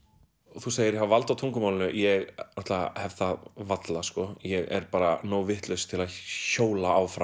þú segir hafi vald á tungumálinu ég náttúrulega hef það varla ég er bara nógu vitlaus til að hjóla áfram